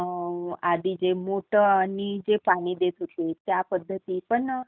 किव्हा आधी जे मोटेने पाणी देत होते त्या पद्धतीने पण